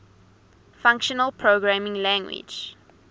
functional programming language